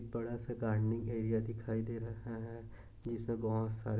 बड़ा सा gardening area दिखाई दे रहा हैं पीछे बहुत सारे--